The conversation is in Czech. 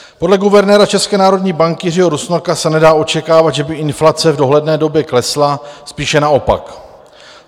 Podle guvernéra České národní banky Jiřího Rusnoka se nedá očekávat, že by inflace v dohledné době klesla, spíše naopak.